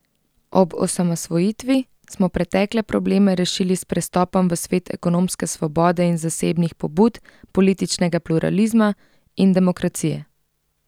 Ob osamosvojitvi smo pretekle probleme rešili s prestopom v svet ekonomske svobode in zasebnih pobud, političnega pluralizma in demokracije.